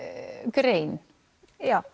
grein já